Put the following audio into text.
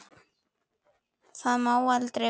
Það má aldrei verða.